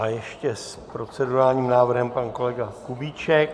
A ještě s procedurálním návrhem pan kolega Kubíček.